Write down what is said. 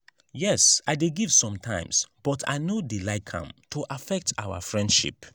yes i dey give sometimes but i no dey like am to affect our friendship.